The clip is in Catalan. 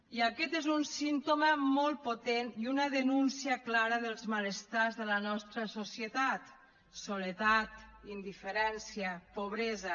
i aquest és un símptoma molt potent i una denúncia clara dels malestars de la nostra societat soledat indiferència pobresa